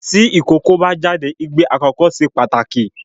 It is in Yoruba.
Tí ìkókó bá jáde igbe àkọ́kọ́ se pàtàkì